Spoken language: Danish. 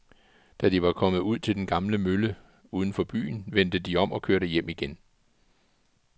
Da de var kommet ud til den gamle mølle uden for byen, vendte de om og kørte hjem igen.